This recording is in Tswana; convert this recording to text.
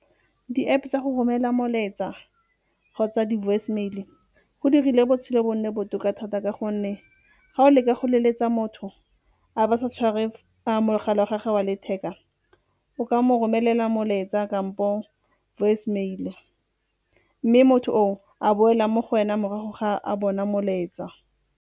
Di-App-e tsa go romela molaetsa kgotsa di-voicemail-e go dirile botshelo bo nne botoka thata ka gonne ga o leka go leletsa motho, a ba sa tshware mogala wa gagwe wa letheka, o ka mo romelela molaetsa kampo voicemail mme motho oo a boela mo go wena morago ga a bona molaetsa.